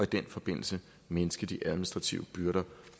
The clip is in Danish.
den forbindelse mindske de administrative byrder